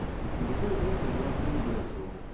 на какой улице жила кэрри брэдшоу